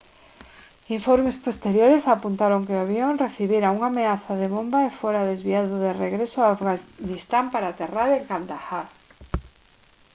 informes posteriores apuntaron que o avión recibira unha ameaza de bomba e fora desviado de regreso a afganistán para aterrar en kandahar